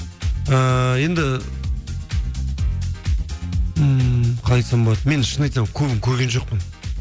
ііі енді ммм қалай айтсам болады мен шынымды айтсам көбін көрген жоқпын